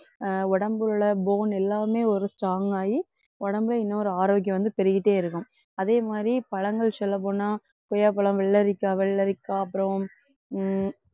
அஹ் உடம்பில் உள்ள bone எல்லாமே ஒரு strong ஆயி உடம்பை இன்னொரு ஆரோக்கியம் வந்து பெருகிட்டேயிருக்கும். அதே மாதிரி பழங்கள் சொல்லப்போனா கொய்யாப்பழம், வெள்ளரிக்காய், வெள்ளரிக்காய் அப்புறம் உம்